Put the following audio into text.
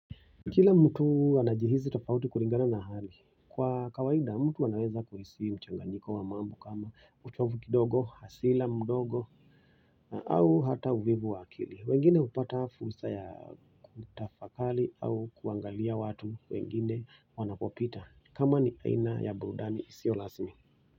Kila mtu anajihisi tofauti kulingana na hali kwa kawaida mtu anaweza kuhisi mchanganyiko wa mambo kama uchovu kidogo, hasira mdogo au hata uvivu wakili wengine hupata fursa ya kutafakari au kuangalia watu wengine wanapopita kama ni aina ya burudani isiyo rasmi.